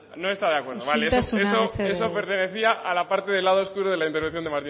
no está de acuerdo vale isiltasuna mesedez eso pertenecía a la parte del lado oscuro de la intervención de